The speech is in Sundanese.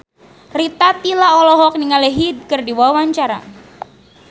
Rita Tila olohok ningali Hyde keur diwawancara